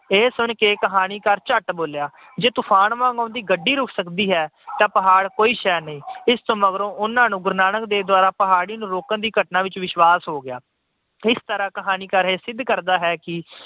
ਇਹ ਸੁਣ ਕੇ ਕਹਾਣੀਕਾਰ ਝੱਟ ਬੋਲਿਆ ਜੇ ਤੂਫਾਨ ਵਾਂਗ ਆਉਂਦੀ ਗੱਡੀ ਰੁੱਕ ਸਕਦੀ ਹੈ ਤਾਂ ਪਹਾੜ ਕੋਈ ਸ਼ੈਅ ਨਹੀਂ। ਇਸ ਮਗਰੋਂ ਉਹਨਾਂ ਨੂੰ ਗੁਰੂ ਨਾਨਕ ਦੁਆਰਾ ਪਹਾੜੀ ਨੂੰ ਰੋਕਣ ਦੀ ਘਟਨਾ ਤੇ ਵਿਸ਼ਵਾਸ ਹੋ ਗਿਆ। ਇਸ ਤਰ੍ਹਾਂ ਕਹਾਣੀਕਾਰ ਇਹ ਸਿੱਧ ਕਰਦਾ ਹੈ ਕਿ